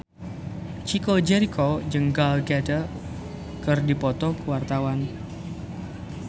Chico Jericho jeung Gal Gadot keur dipoto ku wartawan